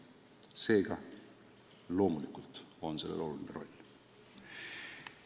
Seega, loomulikult on sellel oluline roll.